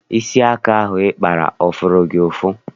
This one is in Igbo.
Isi aka ahụ ị kpara ọ fụrụ gị ụfụ?